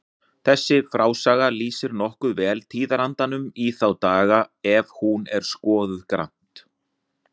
Þessi frásaga lýsir nokkuð vel tíðarandanum í þá daga ef hún er skoðuð grannt.